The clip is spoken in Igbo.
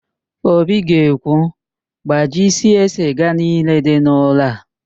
Obi ga-ekwu, gbajisie siga niile dị n'ụlọ a!